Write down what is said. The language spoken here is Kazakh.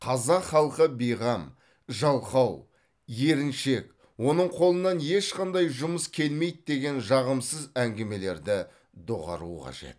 қазақ халқы бейқам жалқау еріншек оның қолынан ешқандай жұмыс келмейді деген жағымсыз әңгімелерді доғару қажет